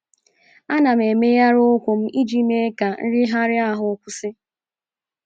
Ana m emegharị ụkwụ m iji mee ka nrịgharị ahụ kwụsị. ”